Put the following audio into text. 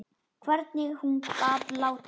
Hvernig hún gat látið.